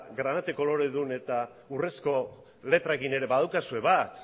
granate koloredun eta urrezko letrekin ere badaukazue bat